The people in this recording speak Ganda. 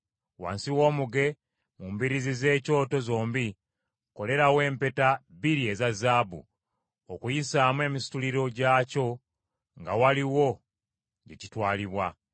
Wansi w’omuge, mu mbiriizi z’ekyoto zombi, kolerawo empeta bbiri eza zaabu, okuyisaamu emisituliro gyakyo nga waliwo gye kitwalibwa.